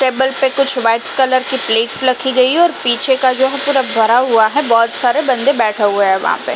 Table पे कुछ white colour की प्लेट्स रखी गइ है और पीछे का जो है पूरा भरा हुआ है। बहोत सारे बंदे बेठे हुए हैं वहा पे।